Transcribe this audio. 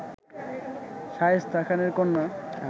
শায়েস্তা খানের কন্যা